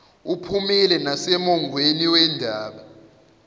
uphumile nasemongweni wendaba